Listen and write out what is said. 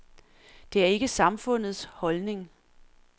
Det er ikke samfundets holdning.